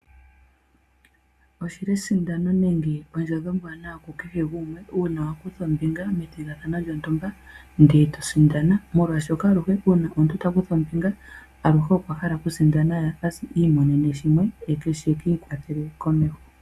Oshi li esindano nenge ondjodhi oombwaanawa kukehe gumwe uuna wa kutha ombinga methigathano lyotumba ndele to sindana. Molwaashoka aluhe uuna omuntu ta kutha ombinga aluhe okwa hala okusindana ye i imonene mo sha shoku ikwathela komeho.